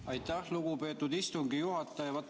Aitäh, lugupeetud istungi juhataja!